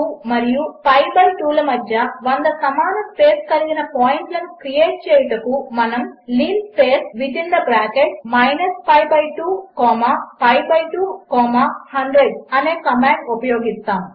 pi2 మరియు పిఐ2 లమధ్య 100 సమానస్పేస్కలిగినపాయింట్లనుక్రియేట్చేయుటకుమనముlinspace pi2పిఐ2100 అనేకమాండ్ఉపయోగిస్తాము